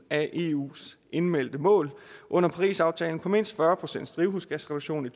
af eus indmeldte mål under parisaftalen på mindst fyrre procent drivhusgasreduktion i